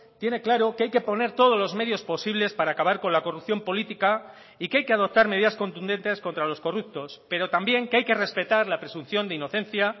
tiene claro que hay que poner todos los medios posibles para acabar con la corrupción política y que hay que adoptar medidas contundentes contra los corruptos pero también que hay que respetar la presunción de inocencia